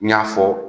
N y'a fɔ